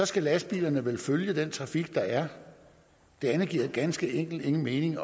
skal lastbilerne vel følge den trafik der er det andet giver ganske enkelt ingen mening